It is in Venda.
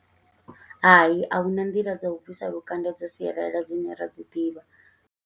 Hai, a huna nḓila dza u bvisa lukanda dza sialala, dzine ra dzi ḓivha.